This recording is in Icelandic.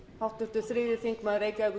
frú forseti það er